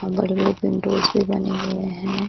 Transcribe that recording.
और बड़े-बड़े विंडोज भी बने हुए है।